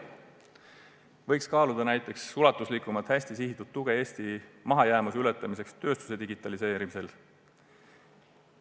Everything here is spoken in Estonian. Näiteks võiks kaaluda ulatuslikumat hästi suunatud tuge Eesti mahajäämuse ületamiseks tööstuse digitaliseerimisel.